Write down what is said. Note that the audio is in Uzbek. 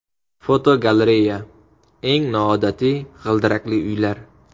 Fotogalereya: Eng noodatiy g‘ildirakli uylar.